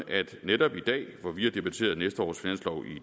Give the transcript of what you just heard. at netop i dag hvor vi har debatteret næste års finanslov